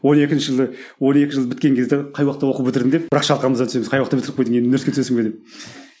он екінші жылы он екі жыл біткен кезде қай уақытта оқу бітірдің деп бірақ шалқамыздан түсеміз қай уақытта бітіріп қойдың енді университетке түсесің бе деп